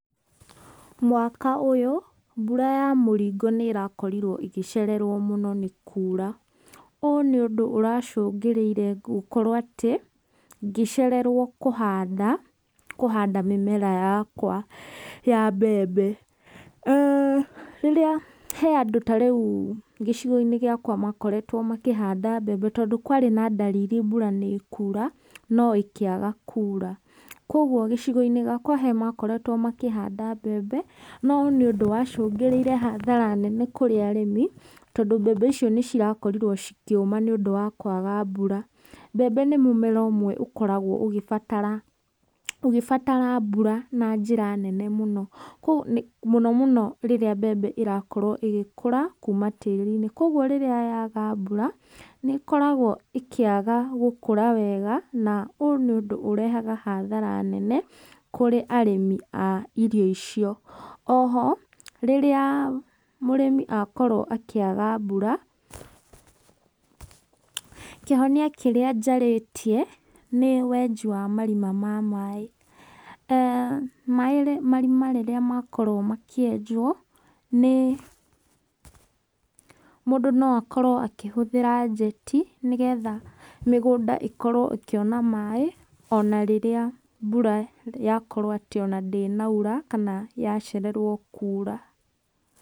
Mwaka ũyũ mbura ya mũringo nĩ ĩrakorirwo ĩgĩcererwo mũno nĩ kuura, ũũ nĩ ũndũ ũracũngĩrĩire gũkorwo atĩ, ngĩcererwo kũhanda, kũhanda mĩmera yakwa ya mbembe. aah Rĩrĩa he andũ ta rĩu gĩcigo-inĩ gĩakwa makoretwo makĩhanda mbembe, tondũ kwarĩ na ndariri mbura nĩ ĩkuura no ĩkĩaga kuura, koguo gĩcigo-inĩ gĩakwa he makoretwo makĩhanda mbembe, no nĩ ũndũ wacũngĩrĩire hathara nene, kũrĩ arĩmi, tondũ mbembe icio nĩ cirakorirwo cikĩũma nĩũndũ wa kwaga mbura. Mbembe nĩ mũmera ũmwe ũkoragwo ũgĩbatara ũgĩbatara mbura na njĩra nene mũno kũũ mũno mũno rĩrĩa mbeme ĩrakorwo ĩgĩkũra kuuma tĩri-inĩ, koguo rĩrĩa yaga mbura, nĩ ĩkoragwo ĩkĩaga gũkũra wega, na ũũ nĩ ũndũ ũrehaga hathara nene kũrĩ arĩmi a irio icio. Oho, rĩrĩa mũrĩmi akorwo akĩaga mbura, kĩhonia kĩrĩa njarĩtie, nĩ wenji wa marima ma maĩ. aah Maĩ, marima rĩrĩa makorwo makĩenjwo, nĩ mũndũ no akorwo akĩhũthĩra njeti nĩgetha mĩgũnda ĩkorwo ĩkĩona maĩ ona rĩrĩa mbura yakorwo atĩ ona ndĩnaura kana yacererwo kuura.